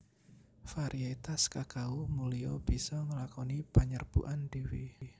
Variétas kakao mulia bisa nglakoni panyerbukan dhéwé